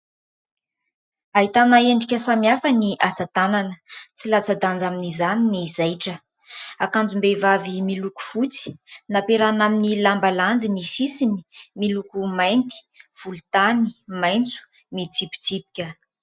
Ahitana endrika samihafa ny asa tanana tsy latsa-danja amin'izany ny zaitra. Akanjom-behivavy miloko fotsy nampiarahana amin'ny lamba landy ny sisiny miloko mainty, volontany, maitso mitsipitsipika.